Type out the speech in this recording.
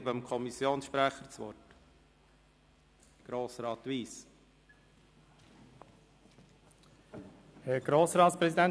Ich erteile dem Sprecher der FiKo, Grossrat Wyss, das Wort.